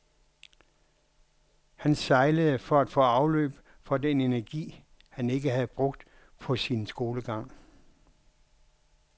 Han sejlede for at få afløb for den energi, han ikke havde brugt på sin skolegang.